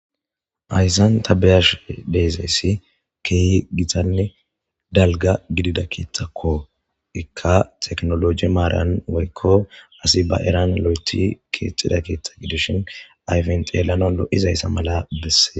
Hayssan ta beyash deezayssi keehi gitanne dalga gidida keeththakko ikka teknoloji maaran woykko asi ba eran lo'eti keexida keetta gidishin ayfenxeelano lo'izayssa mala besse.